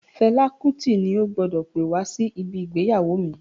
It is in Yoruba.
Fela Kuti ni o gbọdọ̀ pè wá sí ibi ìgbéyàwó mi.